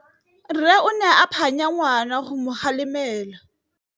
Rre o ne a phanya ngwana go mo galemela.